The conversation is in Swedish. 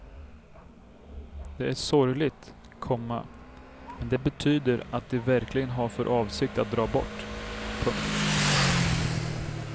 Det är sorgligt, komma men det betyder att de verkligen har för avsikt att dra bort. punkt